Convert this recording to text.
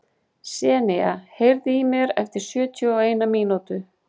Senía, heyrðu í mér eftir sjötíu og eina mínútur.